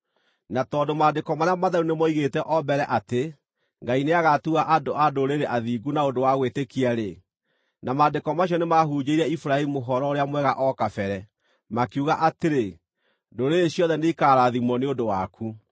Na tondũ Maandĩko marĩa matheru nĩmooigĩte o mbere atĩ Ngai nĩagatua andũ-a-Ndũrĩrĩ athingu na ũndũ wa gwĩtĩkia-rĩ, na Maandĩko macio nĩmahunjĩirie Iburahĩmu Ũhoro-ũrĩa-Mwega o kabere, makiuga atĩrĩ: “Ndũrĩrĩ ciothe nĩikaarathimwo nĩ ũndũ waku.”